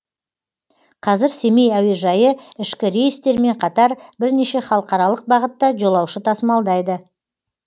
қазір семей әуежайы ішкі рейстермен қатар бірнеше халықаралық бағытта жолаушы тасымалдайды